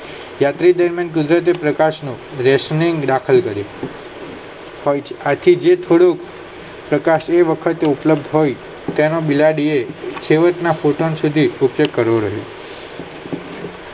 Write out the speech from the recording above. જયરાથી ગુજરાતી પ્રકાશ નો રેશમી દાખલ કરી આખી જીભ થોડું પ્રકાશીય વખત ઉપલબ્ધ હોય ત્યારે બિલાડી એ કરી રહી